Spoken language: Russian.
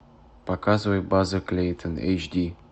показывай база клейтон эйч ди